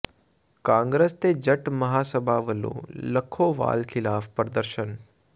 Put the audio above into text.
ਕਾਂਗਰਸ ਤੇ ਜੱਟ ਮਹਾਂ ਸਭਾ ਵੱਲੋਂ ਲੱਖੋਵਾਲ ਖ਼ਿਲਾਫ਼ ਪ੍ਰਦਰਸ਼ਨ